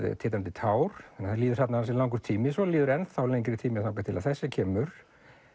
titrandi tár það líður þarna ansi langur tími svo líður lengri tími þangað til þessi kemur